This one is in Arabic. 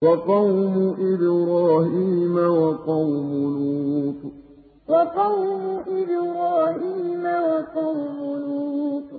وَقَوْمُ إِبْرَاهِيمَ وَقَوْمُ لُوطٍ وَقَوْمُ إِبْرَاهِيمَ وَقَوْمُ لُوطٍ